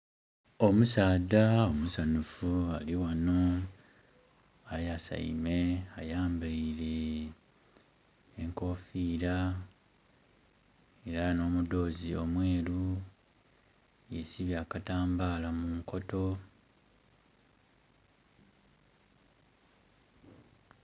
Omusaadha musanhufu ali ghano, ayaseime, ayambeire enkofira era nh'omudhozi omweru yesibye akatambala mu nkoto.